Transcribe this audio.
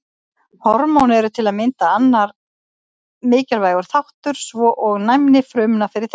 Hormón eru til að mynda annar mikilvægur þáttur svo og næmni frumna fyrir þeim.